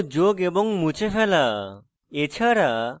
পরমাণু যোগ এবং মুছে ফেলা